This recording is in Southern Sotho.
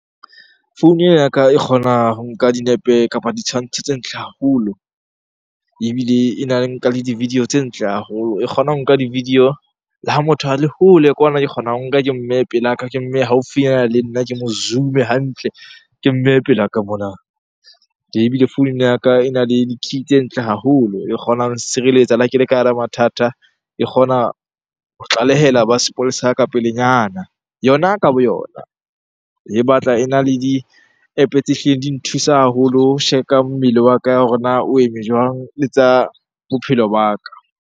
Founu e ya ka e kgona ho nka dinepe kapa ditshwantsho tse ntle haholo, ebile ena le nka le di-video tse ntle haholo. E kgona ho nka di-video le ha motho a le hole kwana. Ke kgona ho nka ke mmehe pelaka, ke mmehe haufinyana le nna, ke mo zoom-e hantle, ke mmehe pelaka mona. Ee, ebile founu ena ya ka ena le di tse ntle haholo e kgonang ho nsireletsa le ha ke le ka hara mathata. E kgona ho tlalehela ba sepolesa ka pelenyana, yona ka boyona. E batla ena le di-App-o tse hlileng di nthusa haholo ho check-a mmele wa ka hore na o eme jwang? Le tsa bophelo ba ka.